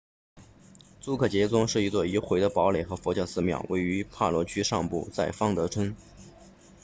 朱克杰宗 drukgyal dzong 是一座已毁的堡垒和佛教寺庙位于帕罗区上部在方德村